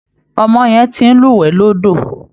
Ọmọ yẹn ti ń lúwẹ̀ẹ́ lódò